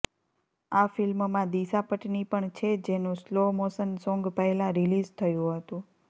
આ ફિલ્મમાં દિશા પટની પણ છે જેનું સ્લો મોશન સોંગ પહેલા રિલીઝ થયું હતું